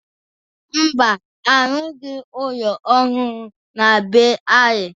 Mba, arụghị ụlọ ohụrụ na be anyị.